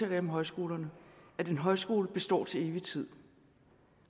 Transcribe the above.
jeg om højskolerne at en højskole består til evig tid